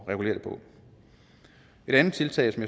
regulere det på et andet tiltag som